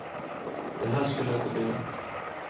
Det här skulle inte bli lätt.